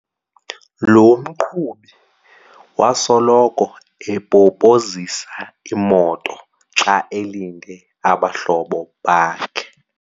Lo mqhubi wasoloko epopozisa imoto xa elinde abahlobo bakhe.